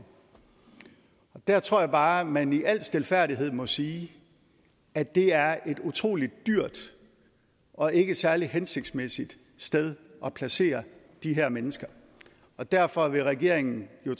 der tror jeg bare at man i al stilfærdighed må sige at det er et utrolig dyrt og ikke særlig hensigtsmæssigt sted at placere de her mennesker derfor vil regeringen jo